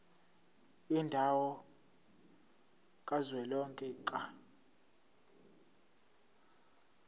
yendawo kazwelonke ka